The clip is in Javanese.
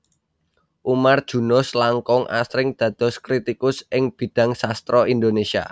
Umar Junus langkung asring dados kritikus ing bidhang sastra Indonesia